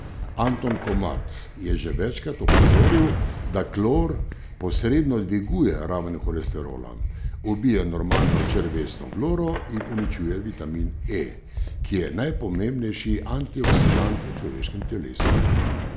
Anton Komat je že večkrat opozoril, da klor posredno dviguje raven holesterola, ubija normalno črevesno floro in uničuje vitamin E, ki je najpomembnejši antioksidant v človeškem telesu.